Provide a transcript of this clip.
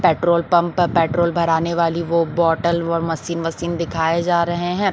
Petrol pump पे petrol भराने वाली वो बॉटल वो मशीन वशीन दिखाए जा रहे हैं।